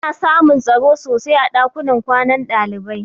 Ana samun tsaro sosai a ɗakunan kwanan ɗalibai.